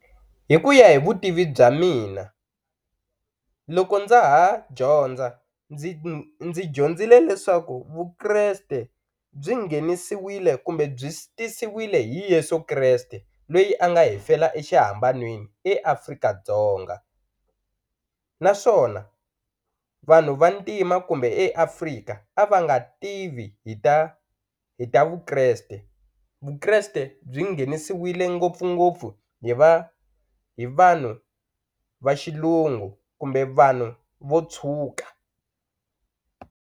Hi ku ya hi vutivi bya mina loko ndza ha dyondza ndzi dyondzile leswaku Vukreste byi nghenisiwile kumbe byi tisiwile hi Yeso Kreste loyi a nga hi fela exihambanweni eAfrika-Dzonga naswona vanhu vantima kumbe eAfrika a va nga tivi hi ta hi ta Vukreste Vukreste byi nghenisewile ngopfungopfu hi va hi vanhu va xilungu kumbe vanhu vo tshuka.